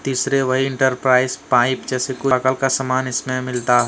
तीसरे भाई enterprise pipe जैसे खुला कल का सामान इसमें मिलता--